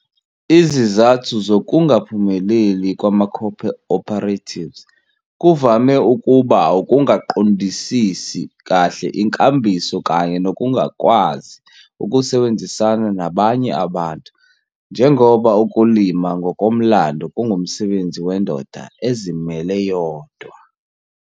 Izizathu zokungaphumeleli kwamaco-operatives kuvame ukuba ukungaqondisisi kahle inkambiso kanye nokungakwazi ukusebenzisana nabanye abantu njengoba ukulima ngokomlando kungumsebenzi wendoda ezimele yodwa.